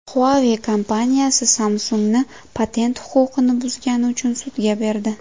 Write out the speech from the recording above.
Huawei kompaniyasi Samsung‘ni patent huquqini buzgani uchun sudga berdi.